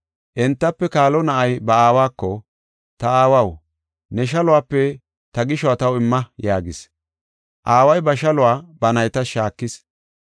Entafe kaalo na7ay ba aawako, ‘Ta aawaw, ne shaluwape ta gishuwa taw imma’ yaagis. Aaway ba shaluwa ba naytas shaakis.